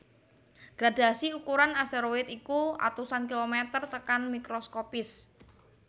Gradhasi ukuran asteroid iku atusan kilomèter tekan mikroskopis